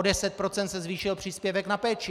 O 10 % se zvýšil příspěvek na péči.